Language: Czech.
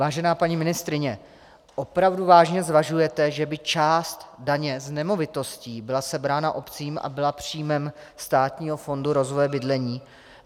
Vážená paní ministryně, opravdu vážně zvažujete, že by část daně z nemovitostí byla sebrána obcím a byla příjmem Státního fondu rozvoje bydlení?